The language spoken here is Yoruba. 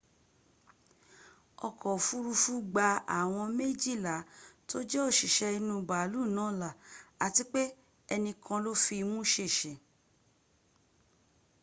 oko ofurufu gba awom mejila to je osise inu baalu na la ati pe enikan lo fi imu sese